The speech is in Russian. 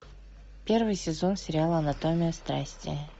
первый сезон сериал анатомия страсти